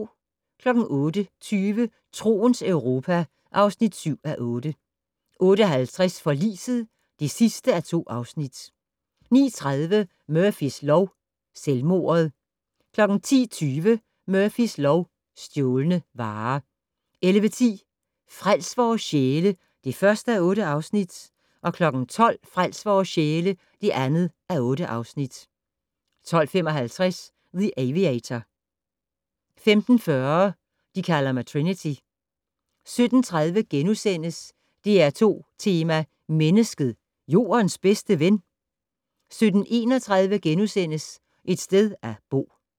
08:20: Troens Europa (7:8) 08:50: Forliset (2:2) 09:30: Murphys lov: Selvmordet 10:20: Murphys lov: Stjålne varer 11:10: Frels vores sjæle (1:8) 12:00: Frels vores sjæle (2:8) 12:55: The Aviator 15:40: De kalder mig Trinity 17:30: DR2 Tema: Mennesket - Jordens bedste ven? * 17:31: Et sted at bo *